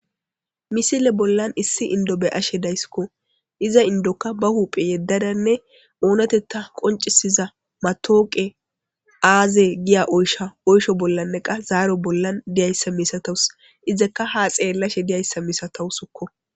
misile bollan issi indo be'ashe dayskko iza indoka ba huuphe yeddadanne oonatetta qoncisiza matooqe aaze giya oysha oysho bollanne qa zaaro bollan diyayssa misatawus izakka ha xeellashe diyayssa misatowuskko